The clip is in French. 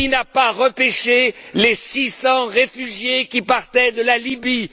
Qui n'a pas repêché les 600 réfugiés qui partaient de la Libye?